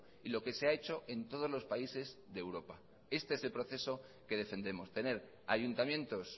y lo que se ha hecho en todos los países de europa este es el proceso que defendemos tener ayuntamientos